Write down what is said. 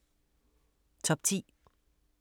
Top 10